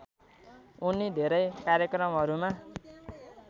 उनी धेरै कार्यक्रमहरूमा